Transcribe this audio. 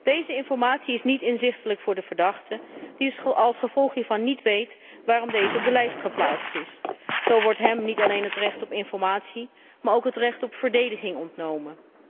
Deze informatie is niet inzichtelijk voor de verdachte, die als gevolg hiervan niet weet waarom hij op de lijst geplaatst is. Zo wordt hem niet alleen het recht op informatie, maar ook het recht op verdediging ontnomen.